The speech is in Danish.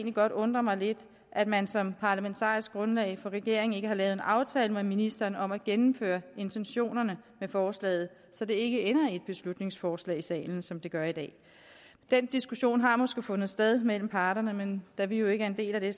godt undre mig lidt at man som parlamentarisk grundlag for regeringen ikke har lavet en aftale med ministeren om at gennemføre intentionerne i forslaget så det ikke ender i et beslutningsforslag i salen som det gør i dag den diskussion har måske fundet sted mellem parterne men da vi jo ikke er en del af det